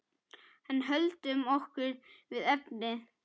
En höldum okkur við efnið.